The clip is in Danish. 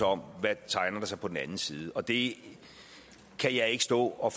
om hvad der tegner sig på den anden side og det kan jeg ikke stå og